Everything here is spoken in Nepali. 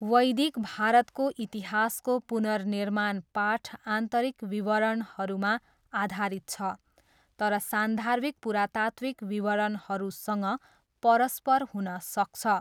वैदिक भारतको इतिहासको पुनर्निर्माण पाठ आन्तरिक विवरणहरूमा आधारित छ तर सान्दर्भिक पुरातात्त्विक विवरणहरूसँग परस्पर हुन सक्छ।